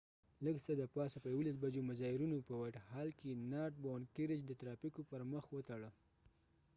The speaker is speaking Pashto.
لږ څه د پاسه په 11:00 بجو مظاهرېنو په وایټ هال white hall کې نارت باوڼډ کېرج north bound carriage د ترافیکو پر مخ وتړه